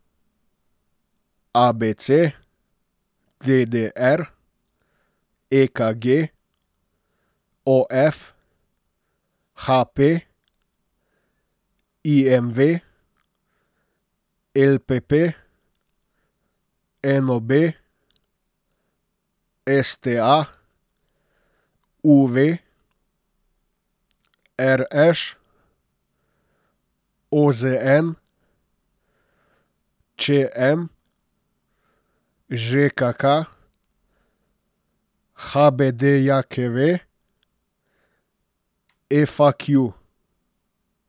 A B C; D D R; E K G; O F; H P; I M V; L P P; N O B; S T A; U V; R Š; O Z N; Č M; Ž K K; H B D J K V; F A Q.